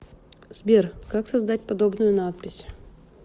сбер как создать подобную надпись